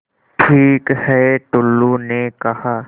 ठीक है टुल्लु ने कहा